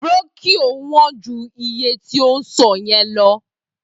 Brónkíò wón ju iye tí ò ń sọ yẹn lọ